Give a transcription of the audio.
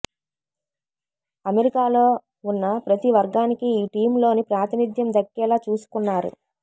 అమెరికాలో ఉన్న ప్రతీ వర్గానికి ఈ టీమ్ లో ప్రాతినిధ్యం దక్కేలా చూసుకున్నారు